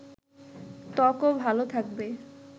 ত্বকও ভালো থাকবে